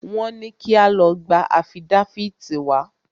Wọ́n ní kí a lọ gba afídáfìtì wá.